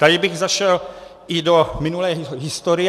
Tady bych zašel i do minulé historie.